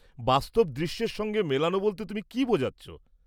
বাস্তব দৃশ্যের সঙ্গে মেলানো বলতে তুমি কি বোঝাচ্ছ?